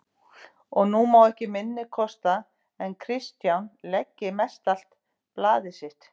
Og nú má ekki minna kosta en Kristján leggi mestallt blað sitt